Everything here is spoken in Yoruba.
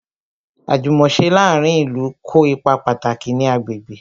Àjùmòse láàárín ìlú kó ipa pàtàkì ní agbègbè